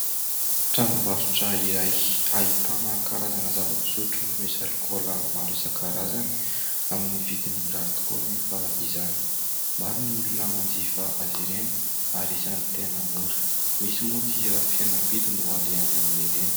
Tranombarotra iray ahitana karazana zava-pisotro misy alikola maro isa karazany, amin'ny vidin'ny mirary tokoa anefa izany. Maro ny olona manjifa azy ireny ary isany tena mora mihintsy moa dia fihenambidy no alehany amin'ireny.